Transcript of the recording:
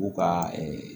U ka